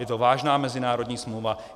Je to vážná mezinárodní smlouva.